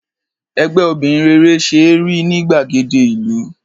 Ẹgbẹ́ obìnrin rere ṣe é rí ní gbàgede ìlú.